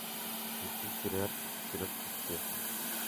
включи сериальчик вперед к успеху